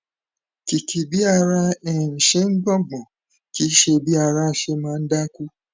kìkì bí ara um ṣe ń gbọn gbọn kìí ṣe bí ara ṣe máa ń dákú